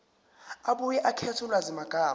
abuye akhethe ulwazimagama